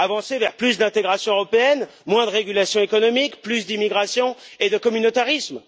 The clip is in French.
Avancer vers plus d'intégration européenne, moins de régulation économique, plus d'immigration et de communautarisme?